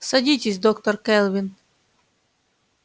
садитесь доктор кэлвин